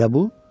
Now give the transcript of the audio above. Elə bu?